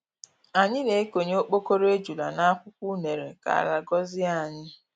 Anyị na-ekonye okpokoro ejula n'akwukwọ unere ka ala gọzie anyị.